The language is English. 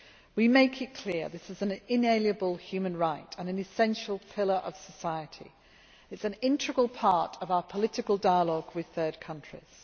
We make it clear this is an inalienable human right and an essential pillar of society. It is an integral part of our political dialogue with third countries.